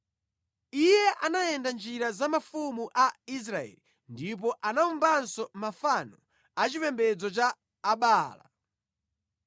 Iye anayenda mʼnjira za mafumu a Israeli ndipo anawumbanso mafano a chipembedzo cha Abaala.